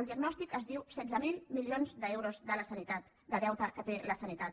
el diagnòstic es diu setze mil milions d’euros de la sanitat de deute que té la sanitat